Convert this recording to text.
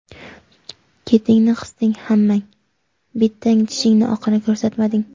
Ketingni qisding hammang, bittang tishingni oqini ko‘rsatmading.